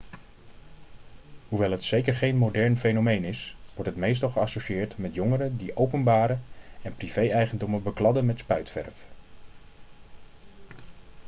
hoewel het zeker geen modern fenomeen is wordt het meestal geassocieerd met jongeren die openbare en privé-eigendommen bekladden met spuitverf